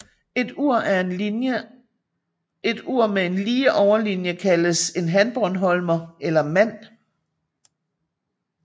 Et ur med en lige overlinie kaldes en hanbornholmer eller mand